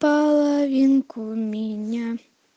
половинку меня